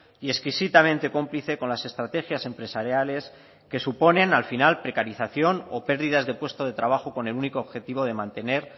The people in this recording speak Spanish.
y exquisitamente cómplice con las estrategias empresariales que suponen al final precarización o pérdidas de puesto de trabajo con el único objetivo de mantener